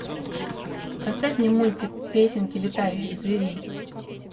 поставь мне мультик песенки летающих зверей